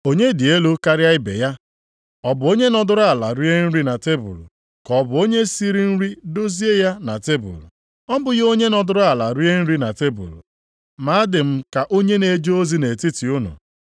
Onye dị elu karịa ibe ya? Ọ bụ onye nọdụrụ ala rie nri na tebul ka ọ bụ onye siri nri dozie ya na tebul? Ọ bụghị onye nọdụrụ ala rie nri na tebul? Ma adị m ka onye na-eje ozi nʼetiti unu.